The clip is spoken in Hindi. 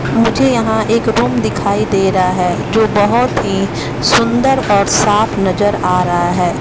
मुझे यहां एक रूम दिखाई दे रहा है जो बहुत ही सुंदर और साफ नजर आ रहा है।